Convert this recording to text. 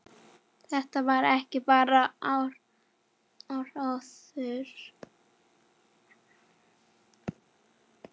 Þetta væri ekki bara áróður.